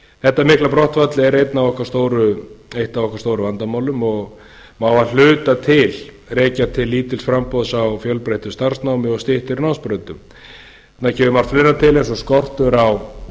þetta mikla brottfall er eitt af okkar stóru vandamálum og má að hluta rekja til lítils framboðs á fjölbreyttu starfsnámi og styttri námsbrautum það kemur margt fleira til eins og skortur á